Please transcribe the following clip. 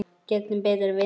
Gegn betri vitund.